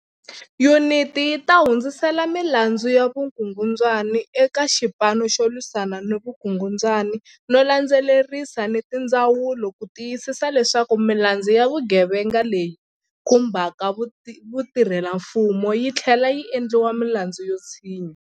Yuniti yi ta hundzisela milandzu ya vukungundwani eka Xipanu xo Lwisana ni Vukungundwani no landze lerisa ni tindzawulo ku ti yisisa leswaku milandzu ya vugevenga leyi khumbaka vatirhelamfumo yi tlhlela yi endliwa milandzu yo tshinya.